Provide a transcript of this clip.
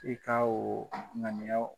I ka o ŋaniiya o